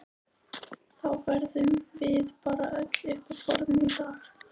Þá verðum við bara öll uppi á borðum í dag